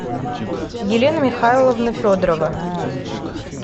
елена михайловна федорова